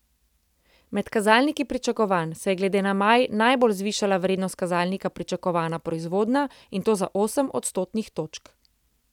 Med kazalniki pričakovanj se je glede na maj najbolj zvišala vrednost kazalnika pričakovana proizvodnja, in to za osem odstotnih točk.